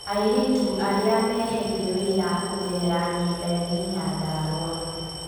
Airĩtu arĩa meheire wĩra kũgerera nyendaine Nyandarua